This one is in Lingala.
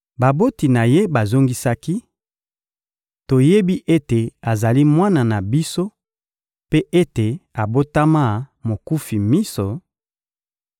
Baboti na ye bazongisaki: — Toyebi ete azali mwana na biso mpe ete abotama mokufi miso;